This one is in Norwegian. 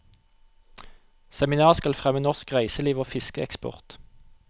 Seminaret skal fremme norsk reiseliv og fiskeeksport.